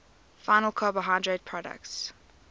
final carbohydrate products